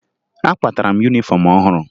Akwatara m yunifọm ọhụrụ